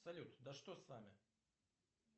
салют да что с нами